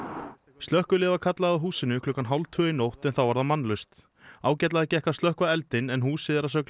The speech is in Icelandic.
slökkviliðið var kallað að húsinu klukkan hálf tvö í nótt en þá var það mannlaust ágætlega gekk að slökkva eldinn en húsið er að sögn